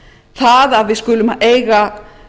það að við skulum eiga